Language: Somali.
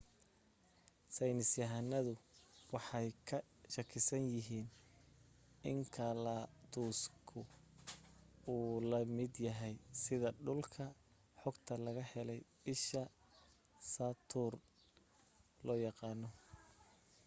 saynis yahanadu waxay ka shakisan yahiin inkaladuska uu la mid yahay sida dhulka xogta laga helay isha saturn loo yaqaano